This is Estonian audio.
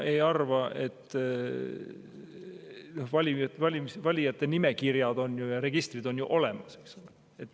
Valijate nimekirjad, registrid on ju olemas.